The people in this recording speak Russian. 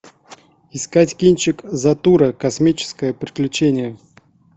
искать кинчик затура космическое приключение